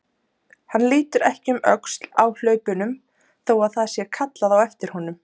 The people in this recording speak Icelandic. Hann lítur ekki um öxl á hlaupunum þó að það sé kallað á eftir honum.